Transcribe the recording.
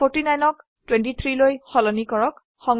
49 ক 23 লৈ সলনি কৰক